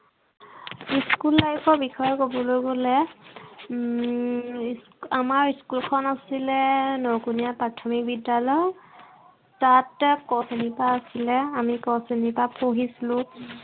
school life ৰ বিষয়ে কবলৈ গলে উম আমাৰ school খন আছিলে নকোনীয়া প্ৰথামিক বিদ্য়ালয়। তাতে ক শ্ৰেণীৰ পৰা আছিলে। আমি ক শ্ৰেণীৰ পৰা পঢ়িছিলো।